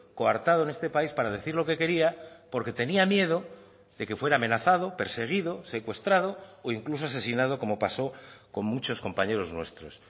coartado en este país para decir lo que quería porque tenía miedo de que fuera amenazado perseguido secuestrado o incluso asesinado como pasó con muchos compañeros nuestros